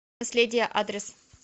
наследие адрес